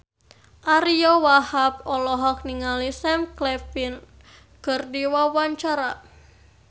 Ariyo Wahab olohok ningali Sam Claflin keur diwawancara